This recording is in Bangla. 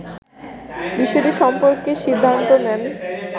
বিষয়টি সম্পর্কে সিদ্ধান্ত নেন